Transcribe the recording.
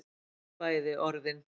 Bæði orðin